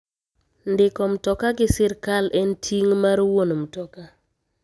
Ndiko mtoka gi sirkal en ting' mar wuon mtoka.